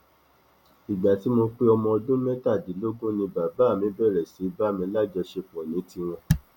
ìgbà tí mo pé ọmọ ọdún mẹtàdínlógún ni bàbá mi bẹrẹ sí í bá mi lájọṣepọ ní tiwọn